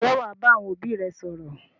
Ǹjẹ́ wà á bá àwọn òbí rẹ sọ̀rọ̀?